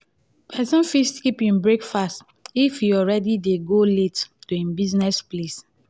persin fit skip en breakfast if e already de go late to im buisiness place